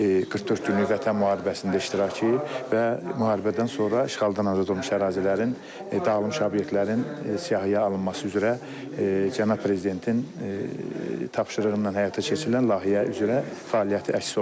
44 günlük Vətən müharibəsində iştirakı və müharibədən sonra işğaldan azad olunmuş ərazilərin dağılmış obyektlərin siyahıya alınması üzrə cənab prezidentin tapşırığı ilə həyata keçirilən layihə üzrə fəaliyyəti əks olunub.